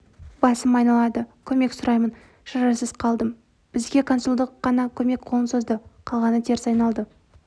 басым айналады көмек сұраймын шарасыз қалдым бізге консулдық қана көмек қолын созды қалғаны теріс айналды